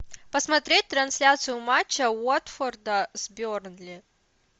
посмотреть трансляцию матча уотфорда с бернли